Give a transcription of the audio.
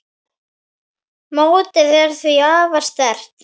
Mótið er því afar sterkt.